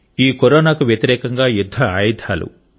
ఈ కరోనాకు వ్యతిరేకంగా యుద్ధ ఆయుధాలు